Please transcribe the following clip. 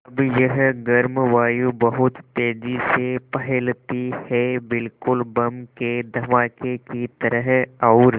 अब यह गर्म वायु बहुत तेज़ी से फैलती है बिल्कुल बम के धमाके की तरह और